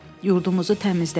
Yurdumuzu təmizlədik.